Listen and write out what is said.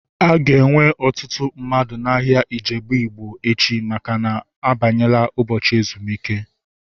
A ga-enwe ọtụtụ mmadụ n'ahia Ijebu Ịgbo echi maka na-abanyela ụbọchị ezumike